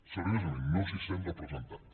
seriosament no s’hi sent representat